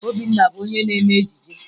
Obinna bụ onye na-eme ejije